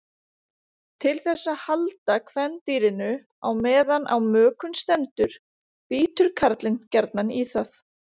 Til þess að halda kvendýrinu á meðan á mökun stendur bítur karlinn gjarnan í það.